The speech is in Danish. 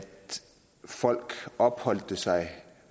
folk opholdt sig